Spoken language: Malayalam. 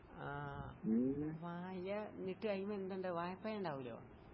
ആഹ്. വായ ഇട്ട് കഴിയുമ്പ എന്തിണ്ടാവും വായപ്പയിണ്ടാവൂലോ?